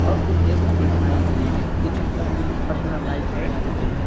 और कुछ डेस्क भी बनाई गई हैं जिनमें सब में पर्सनल लाइट्स लगाई गई है।